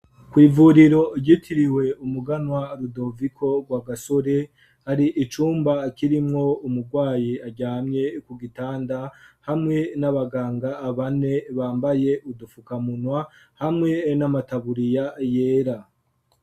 Kw'ivuriro igitiriwe umuganwa rudovico rwa gasore hari icumba akirimwo umurwayi ajyamye ku gitanda hamwe n'abaganga abane bambaye udufukamunwa hamwe n'amataburiya yera.